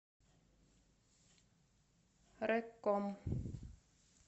рэкком